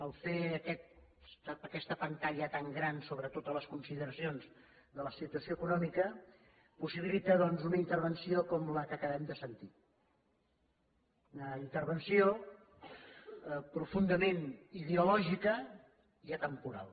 el fet de fer aquesta pantalla tan gran sobre totes les consideracions de la situació econòmica possibilita doncs una intervenció com la que acabem de sentir una intervenció profundament ideològica i atemporal